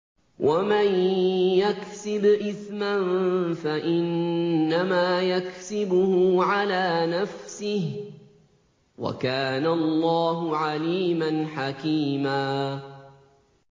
وَمَن يَكْسِبْ إِثْمًا فَإِنَّمَا يَكْسِبُهُ عَلَىٰ نَفْسِهِ ۚ وَكَانَ اللَّهُ عَلِيمًا حَكِيمًا